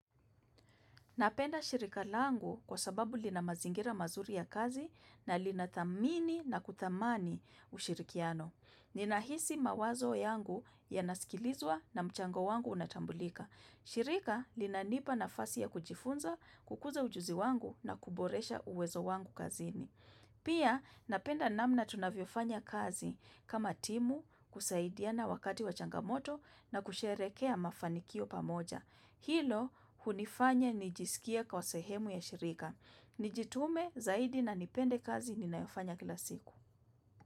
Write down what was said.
Napenda shirika langu kwa sababu lina mazingira mazuri ya kazi na linathamini na kuthamani ushirikiano. Ninahisi mawazo yangu yanasikilizwa na mchango wangu unatambulika. Shirika linanipa nafasi ya kujifunza, kukuza ujuzi wangu na kuboresha uwezo wangu kazini. Pia napenda namna tunavyofanya kazi kama timu kusaidiana wakati wa changamoto na kusherehekea mafanikio pamoja. Hilo hunifanya nijisikie kwa sehemu ya shirika. Nijitume zaidi na nipende kazi ninayofanya kila siku.